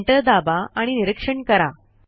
enter दाबा आणि निरीक्षण करा